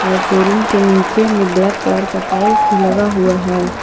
और शोरूम के नीचे मे ब्लैक कलर का टाइल्स भी लगा हुआ है।